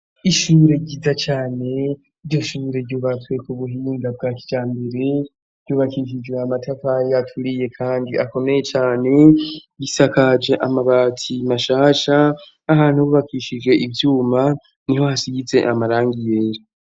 ishure ryiza cane. Iryo shure ryubatswe ku buhinda bwa kijambere, ryubakishije amatafari aturiye kandi akomeye cane. Risakaje amabati mashasha. Ahantu bubakishije ivyuma niho hasize amarangi yera.